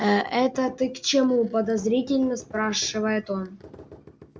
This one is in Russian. ээ это ты к чему подозрительно спрашивает он